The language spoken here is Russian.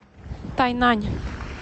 тайнань